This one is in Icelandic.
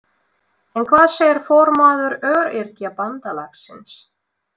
En hvað segir formaður Öryrkjabandalagsins?